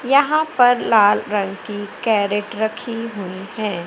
यहां पर लाल रंग की कैरट रखी हुई है।